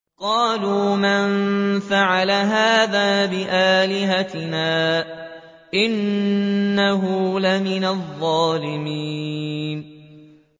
قَالُوا مَن فَعَلَ هَٰذَا بِآلِهَتِنَا إِنَّهُ لَمِنَ الظَّالِمِينَ